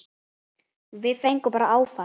Við fengum bara áfall.